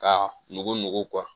Ka nugu nugu